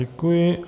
Děkuji.